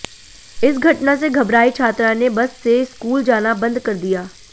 इस घटना से घबराई छात्रा ने बस से स्कूल जाना बंद कर दिया